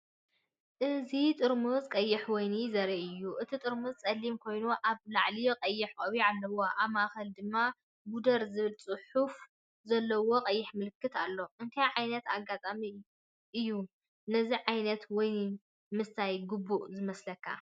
እዚ ጥርሙዝ ቀይሕ ወይኒ ዘርኢ እዩ። እቲ ጥርሙዝ ጸሊም ኮይኑ ኣብ ላዕሊ ቀይሕ ቆቢዕ ኣለዎ። ኣብ ማእከል ድማ “ጉደር” ዝብል ጽሑፍ ዘለዎ ቀይሕ ምልክት ኣሎ። እንታይ ዓይነት ኣጋጣሚ እዩ ነዚ ዓይነት ወይኒ ምስታይ ግቡእ ዝመስለካ?